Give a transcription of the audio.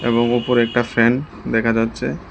এবং ওপরে একটা ফ্যান দেখা যাচ্ছে।